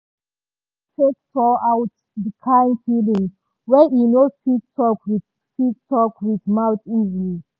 e use art take pour out the kind feelings wey e no fit talk with fit talk with mouth easily.